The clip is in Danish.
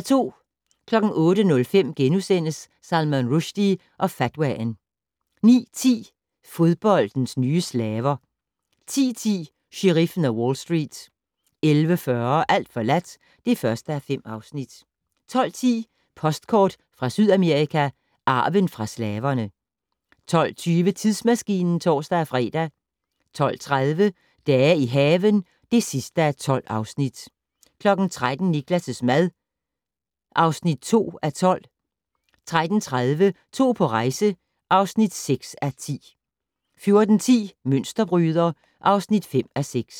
08:05: Salman Rushdie og fatwaen * 09:10: Fodboldens nye slaver 10:10: Sheriffen af Wall Street 11:40: Alt forladt (1:5) 12:10: Postkort fra Sydamerika: Arven fra slaverne 12:20: Tidsmaskinen (tor-fre) 12:30: Dage i haven (12:12) 13:00: Niklas' mad (2:12) 13:30: To på rejse (6:10) 14:10: Mønsterbryder (5:6)